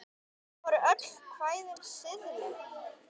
Voru öll kvæðin siðleg?